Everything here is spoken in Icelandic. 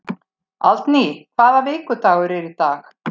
Aldný, hvaða vikudagur er í dag?